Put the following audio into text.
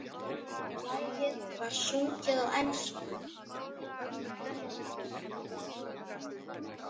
Lagið var sungið á ensku.